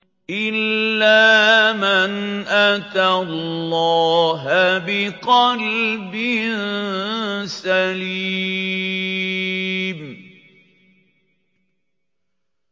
إِلَّا مَنْ أَتَى اللَّهَ بِقَلْبٍ سَلِيمٍ